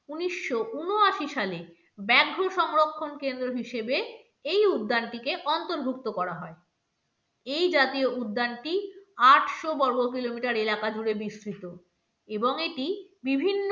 উনিশশো ঊনআশি সালে ব্যাঘ্র সংরক্ষণ কেন্দ্র হিসেবে এই উদ্যানটিকে অন্তর্ভুক্ত করা হয় এই জাতীয় উদ্যানটি আটশো বর্গ kilometer এলাকা জুড়ে বিসতৃত এবং এবং এটি বিভিন্ন